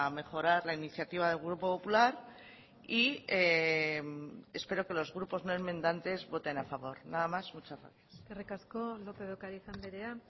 mejorar la iniciativa del grupo popular y espero que los grupos no enmendantes voten a favor nada más muchas gracias eskerrik asko lópez de ocariz andrea